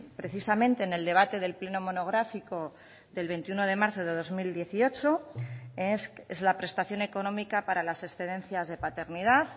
precisamente en el debate del pleno monográfico del veintiuno de marzo de dos mil dieciocho es la prestación económica para las excedencias de paternidad